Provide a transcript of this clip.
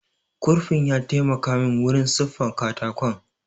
Kurfin ya taimaka min wurin siffa katakon